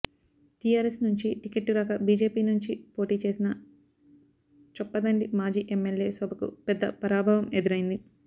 TRS నుంచి ticket రాక BJP నుంచి పోటీ చేసిన చొప్పదండి మాజీ ఎమ్మెల్యే శోభకు పెద్ద పరాభవం ఎదురైంది